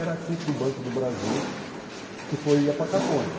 era título do Banco do Brasil, que foi ia para Caconde.